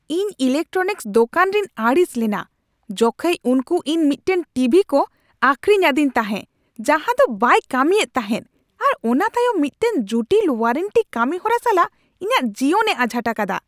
ᱤᱧ ᱤᱞᱮᱠᱴᱨᱚᱱᱤᱠᱥ ᱫᱚᱠᱟᱱ ᱨᱤᱧ ᱟᱹᱲᱤᱥ ᱞᱮᱱᱟ ᱡᱚᱠᱷᱮᱡ ᱩᱱᱠᱩ ᱤᱧ ᱢᱤᱫᱴᱟᱝ ᱴᱤᱵᱷᱤ ᱠᱚ ᱟᱹᱠᱷᱨᱤᱧ ᱟᱹᱫᱤᱧ ᱛᱟᱦᱮ ᱡᱟᱦᱟᱸ ᱫᱚ ᱵᱟᱭ ᱠᱟᱹᱢᱤᱭᱮᱫ ᱛᱟᱦᱮᱫ ᱟᱨ ᱚᱱᱟ ᱛᱟᱭᱚᱢ ᱢᱤᱫᱴᱟᱝ ᱡᱩᱴᱤᱞ ᱳᱣᱟᱨᱮᱱᱴᱤ ᱠᱟᱹᱢᱤ ᱦᱚᱨᱟ ᱥᱟᱞᱟᱜ ᱤᱧᱟᱹᱜ ᱡᱤᱭᱚᱱᱮ ᱟᱡᱷᱟᱴ ᱟᱠᱟᱫᱟ ᱾